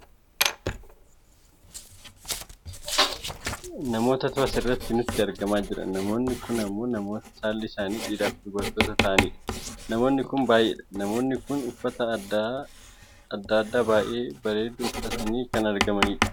namootatu asirrat nutti argamaa jira . namoonni kun ammoo namoota saalli isaanii dhiiraafi dubartoota ta'ani dha. namoonni kun baayyee dha. namoonni kun uffata aadaa baayyee babbaredu uffatanii kan argamani dha.